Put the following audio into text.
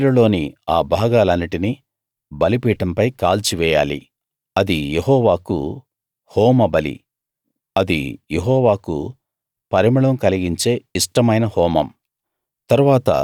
పోట్టేలులోని ఆ భాగాలన్నిటినీ బలిపీఠంపై కాల్చివెయ్యాలి అది యెహోవాకు హోమబలి అది యెహోవాకు పరిమళం కలిగించే ఇష్టమైన హోమం